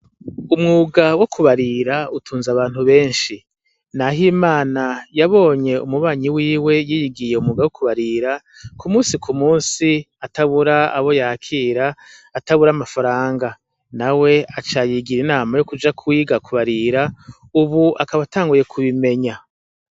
Umwuga wo kubarira ututnze abantu benshi. NAHIMANA yabonye umubanyi wiwe yiyigiye umwuga wo kubarira, ku musi ku musi atabura abo yakira, atabura amafaranga. Nawe aca yigira inama yo kuja kwiga kubarira, ubu akaba atanguye kubimenya.